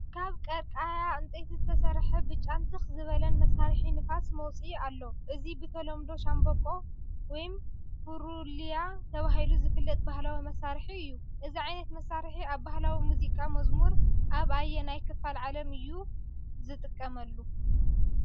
ካብ ቀርቃሃ ዕንጨይቲ ዝተሰርሐ ብጫን ትኽ ዝበለን መሳርሒ ንፋስ መውፅኢ ኣሎ። እዚ ብተለምዶ ቫንበቆ ወይ ፉሩልያ ተባሂሉ ዝፍለጥ ባህላዊ መሳርሒ እዩ። እዚ ዓይነት መሳርሒ ኣብ ባህላዊ ሙዚቃ/መዝሙር ኣብ ኣየናይ ክፋል ዓለም እዩ ዝጥቀምሉ?